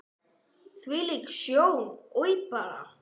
Hvílík sjón, oj bara!